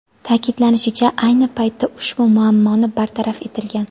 Ta’kidlanishicha, ayni paytda ushbu muammo bartaraf etilgan.